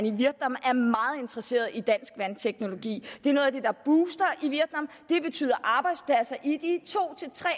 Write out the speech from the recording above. i vietnam er meget interesseret i dansk vandteknologi det er noget af det der buster i vietnam det betyder arbejdspladser i de to